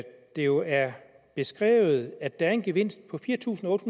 det jo er beskrevet at der er en gevinst på fire tusind otte